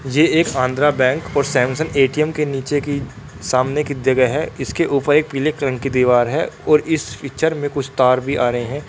ये एक आंध्र बैंक और सैमसंग ए_टी_एम की नीचे की सामने की जगह है इसके ऊपर एक पीले कलर की दीवार है और इस पिक्चर में कुछ तर भी आ रहे है।